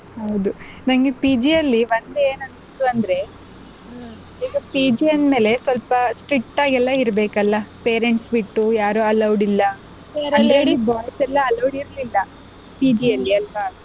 ಹೌದು ನಂಗೆ PG ಅಲ್ಲಿ ಒಂದ್ ಏನ್ ಅನ್ಸ್ತು ಅಂದ್ರೆ ಈಗ PG ಅಂದ್ಮೇಲೆ ಸ್ವಲ್ಪ strict ಇರಬೇಕ್ ಅಲ್ಲ parents ಬಿಟ್ಟು ಯಾರು allowed ಇಲ್ಲ boys ಎಲ್ಲ allowed ಇರಲಿಲ್ಲ PG ಅಲ್ಲಿ ಅಲ್ವಾ.